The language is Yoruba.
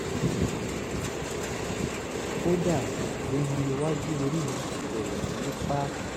kódà irun iwájú orí mi ti bẹ̀rẹ̀ sí í pá